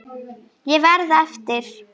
Ég verð eftir.